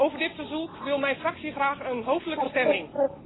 Over dit verzoek wil mijn fractie graag een hoofdelijke stemming.